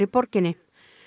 borginni